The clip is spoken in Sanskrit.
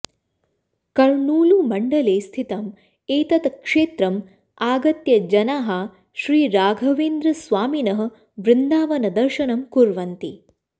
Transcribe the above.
कर्नूलुमण्डले स्थितम् एतत् क्षेत्रम् आगत्य जनाः श्री राघवेन्द्रस्वामिनः वृन्दावनदर्शनं कुर्वन्ति